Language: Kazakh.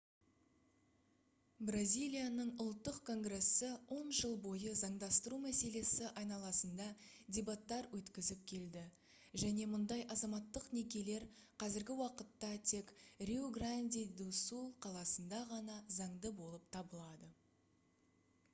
бразилияның ұлттық конгрессі 10 жыл бойы заңдастыру мәселесі айналасында дебаттар өткізіп келді және мұндай азаматтық некелер қазіргі уақытта тек риу-гранди-ду-сул қаласында ғана заңды болып табылады